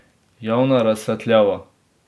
Javna razsvetljava?